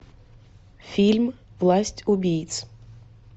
фильм власть убийц